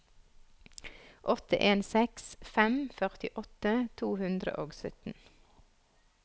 åtte en seks fem førtiåtte to hundre og sytten